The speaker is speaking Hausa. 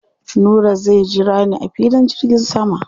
Nura zai jira ni a filin jirgin sama.